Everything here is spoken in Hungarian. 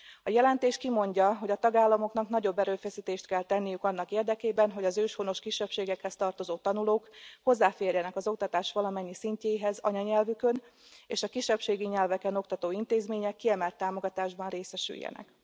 A jelentés kimondja, hogy a tagállamoknak nagyobb erőfeszítést kell tenniük annak érdekében, hogy az őshonos kisebbségekhez tartozó tanulók hozzáférjenek az oktatás valamennyi szintjéhez anyanyelvükön, és a kisebbségi nyelveken oktató intézmények kiemelt támogatásban részesüljenek.